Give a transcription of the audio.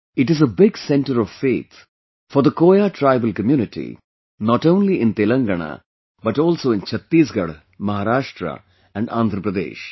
It is a big center of faith for the Koya tribal community, not only in Telangana, but also in Chhattisgarh, Maharashtra and Andhra Pradesh